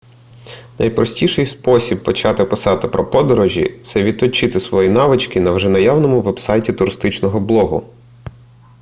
найпростіший спосіб почати писати про подорожі це відточити свої навички на вже наявному вебсайті туристичного блогу